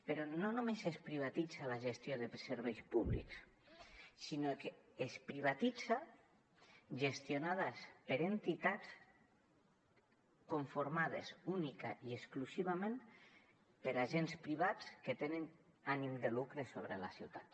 però no només es privatitza la gestió de serveis públics sinó que es privatitza gestionada per entitats conformades únicament i exclusivament per agents privats que tenen ànim de lucre sobre la ciutat